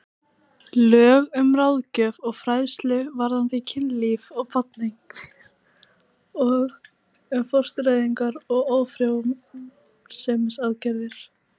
Lög um ráðgjöf og fræðslu varðandi kynlíf og barneignir og um fóstureyðingar og ófrjósemisaðgerðir.